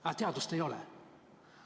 Aga teadust ei ole.